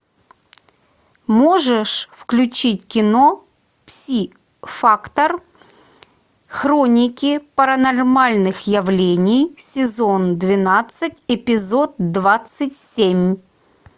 можешь включить кино пси фактор хроники паранормальных явлений сезон двенадцать эпизод двадцать семь